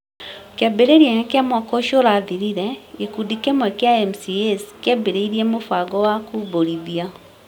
Kĩambĩrĩria-inĩ kĩa mwaka ũcio ũrathirire, gĩkundi kĩmwe kĩa MCAs kĩambĩrĩirie mũbango wa kũmbũrithia,